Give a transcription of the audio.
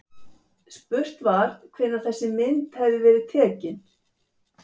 Spurt var, hvenær þessi mynd hefði verið tekin?